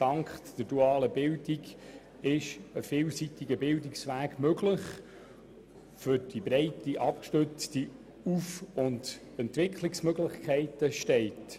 Dank der dualen Bildung ist ein vielseitiger Bildungsweg möglich, der für breit abgestützte Aufstiegs- und Entwicklungsmöglichkeiten steht.